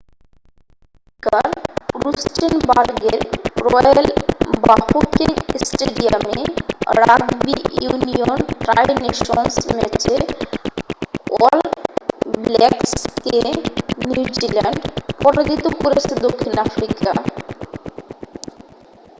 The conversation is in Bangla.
দক্ষিণ আফ্রিকার রুস্টেনবার্গের রয়্যাল বাফোকেং স্টেডিয়ামে রাগবি ইউনিয়ন ট্রাই নেশনস ম্যাচে অল ব্ল্যাকসকে নিউজিল্যান্ড পরাজিত করেছে দক্ষিণ আফ্রিকা।